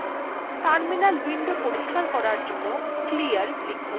terminal window পরিস্কার করার জন্য clear লিখুন